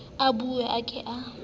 o bue o ke o